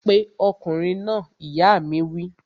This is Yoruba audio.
Pe ọkùnrin náà! ìyá mi wí